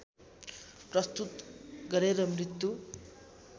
प्रस्तुत गरेर मृत्यु